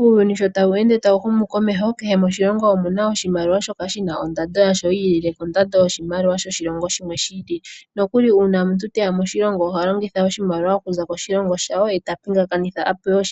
Uuyuni sho tawu ende tawu humu komeho, kehe moshilongo omu na oshimaliwa shoka shi na ondando yasho yi ilile kondando yoshimaliwa shoshilongo shimwe shi ili. Nokuli uuna omuntu te ya moshilongo oha longitha oshimaliwa okuza koshilongo shawo ye ta pingakanitha a pewe